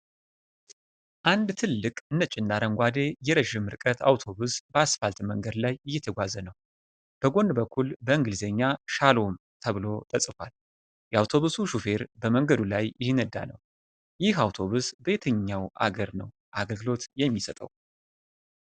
አንድ ትልቅ ነጭና አረንጓዴ የረዥም ርቀት አውቶቡስ በአስፋልት መንገድ ላይ እየተጓዘ ነው። በጎን በኩል በእንግሊዝኛ "ሻሎም" ተብሎ ተጽፏል። የአውቶቡሱ ሹፌር በመንገዱ ላይ እየነዳ ነው። ይህ አውቶቡስ በየትኛው አገር ነው አገልግሎት የሚሰጠው?